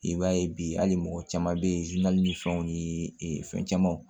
I b'a ye bi hali mɔgɔ caman bɛ ye ni fɛnw ni fɛn camanw